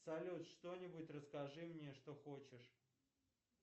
салют что нибудь расскажи мне что хочешь